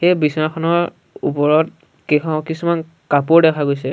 এই বিচনাখনৰ ওপৰত কেইখ কিছুমান কাপোৰ দেখা গৈছে।